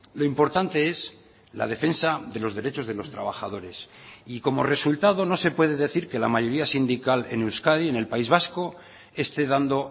lo importante es la defensa de los derechos de los trabajadores y como resultado no se puede decir que la mayoría sindical en euskadi en el país vasco esté dando